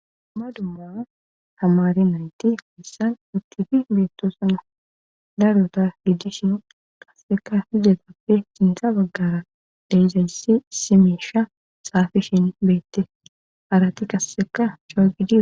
ma dumma hamari nayytti hohissan uttifi beettosana daruta gidishin kasseka hizatappe sinta baggara deyzayssi simeesha saafishin beette arati kasseka chogidi